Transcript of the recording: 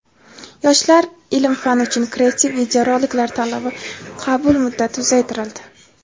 "Yoshlar ilm-fan uchun" kreativ videoroliklar tanlovi qabul muddati uzaytirildi.